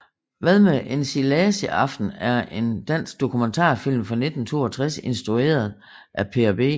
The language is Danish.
Hvad med ensilagesaften er en dansk dokumentarfilm fra 1962 instrueret af Per B